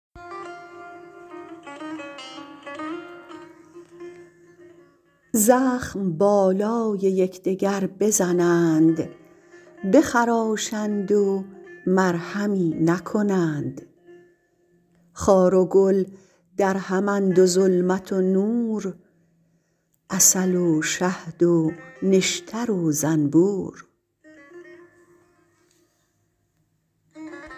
زخم بالای یکدگر بزنند بخراشند و مرهمی نکنند خار و گل درهم اند و ظلمت و نور عسل و شهد و نشتر و زنبور